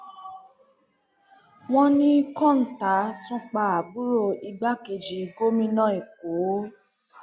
wọn ní kọńtà tún pa àbúrò igbákejì gómìnà èkó